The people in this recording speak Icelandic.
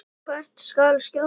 Hvert skal skjóta?